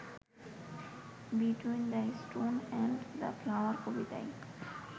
between the stone and the flower কবিতায়